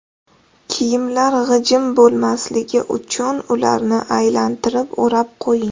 Kiyimlar g‘ijim bo‘lmasligi uchun ularni aylantirib o‘rab qo‘ying.